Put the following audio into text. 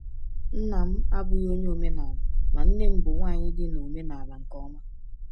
Nna m abụghị onye omenala, ma nne m bụ nwanyị dị n’omenala nke ọma.